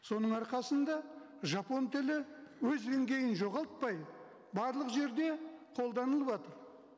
соның арқасында жапон тілі өз деңгейін жоғалтпай барлық жерде қолданылыватыр